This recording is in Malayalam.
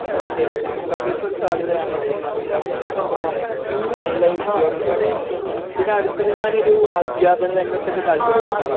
ഓ കെ സിവിൽ സർവീസ് ഒരു സാധ്യതയാണ് ഒരു തൊഴിലാവസരമാണ് അല്ലേ . അങ്ങനെയുള്ള ഉദ്യോഗങ്ങളൊക്കെ ഞമ്മക്ക് പിന്നെ അടുത്തത് ഞാൻ ഒരു അധ്യാപന രംഗത്ത് താല്പര്യപ്പെടുന്ന ഒരാളാണ്